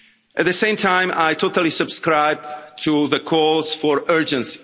At the same time, I totally subscribe to the calls for urgency.